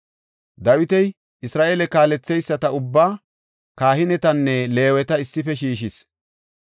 Dawiti Isra7eele kaaletheyisata ubbaa, kahinetanne Leeweta issife shiishis.